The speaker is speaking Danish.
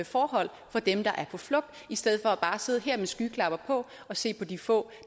forhold for dem der er på flugt i stedet for bare at sidde her med skyklapper på og se på de få